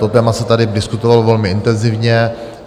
To téma se tady diskutovalo velmi intenzivně.